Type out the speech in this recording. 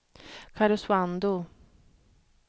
Karesuando